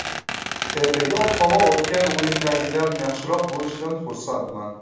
Ertaga ob-havo o‘tgan o‘yindagidan yaxshiroq bo‘lishidan xursandman.